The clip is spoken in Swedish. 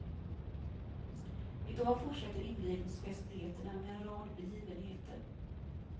Idag fortsätter invigningsfestligheterna med en rad begivenheter.